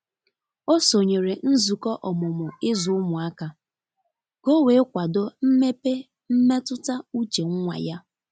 o sonyere nzụkọ ọmụmụ izu ụmụaka ka o wee kwado mmepe mmetụta uche nwa ya.